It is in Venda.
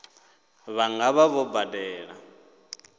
vha nga vha vho badela